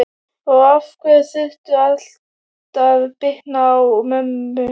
Og af hverju þurfti allt að bitna á mömmu?